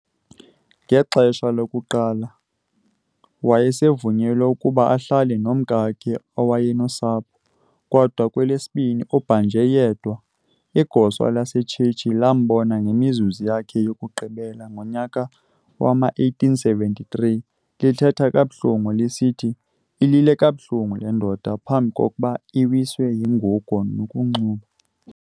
Ngexha lokuqala uyewavunyelwa ukuba ahlale nomkake kwaye nosapho, kodwa kwelesibini ubhanjwe yedwa. Igosa lasetshetshi elambona ngemizuzu yakhe yokugqibela ngonyaka wama-1873 lithetha kabuhlungu lisithi "Ilile kabuhlungu lendoda, phamb'koba iwiswe yingugo nokunxuba".